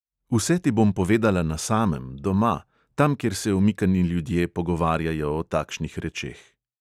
Vse ti bom povedala na samem, doma, tam, kjer se omikani ljudje pogovarjajo o takšnih rečeh.